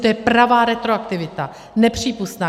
To je pravá retroaktivita, nepřípustná.